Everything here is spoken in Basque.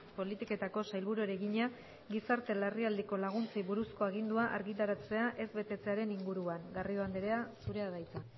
politiketako sailburuari egina gizarte larrialdiko laguntzei buruzko agindua argitaratzea ez betetzearen inguruan garrido andrea zurea da hitza